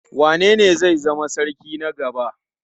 Wanene zai zama sarki na gaba?